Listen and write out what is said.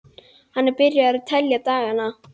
Hann er byrjaður að telja dagana.